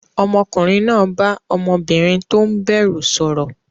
Ọmọkùnrin náà bá ọmọbìnrin tó ń bẹ̀rù sọ̀rọ̀.